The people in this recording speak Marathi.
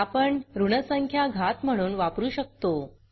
आपण ऋण संख्या घात म्हणून वापरू शकतो